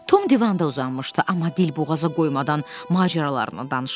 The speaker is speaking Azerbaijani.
Tom divanda uzanmışdı, amma dilboğaza qoymadan macəralarını danışırdı.